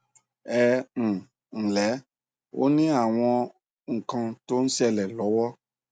ẹ um ǹlẹ ó ní àwọn nǹkan tó ń ṣẹlẹ lọwọ